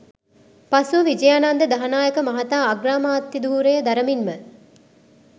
පසුව විජයානන්ද දහනායක මහතා අග්‍රාමාත්‍යධුරය දරමින්ම